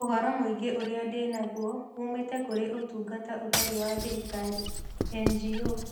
Ũhoro mũingĩ ũrĩa ndĩ naguo uumĩte kũrĩ Ũtungata Ũtarĩ wa Thirikari (NGO).